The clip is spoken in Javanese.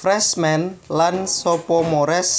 Freshmen lan Sophomores